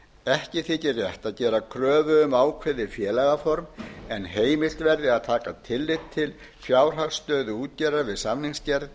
ekki þykir rétt að gera kröfu um ákveðið félagaform en heimilt verði að taka tillit til fjárhagsstöðu útgerðar við samningsgerð